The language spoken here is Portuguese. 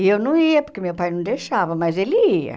E eu não ia, porque meu pai não deixava, mas ele ia.